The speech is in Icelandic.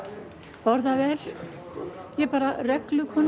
borða vel ég er bara